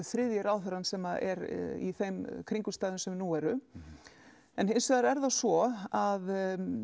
þriðji ráðherrann sem er í þeim kringumstæðum sem nú eru hinsvegar er það svo að